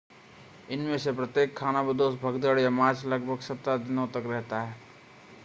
इनमें से प्रत्येक खानाबदोश भगदड़ या मार्च लगभग 17 दिनों तक रहता है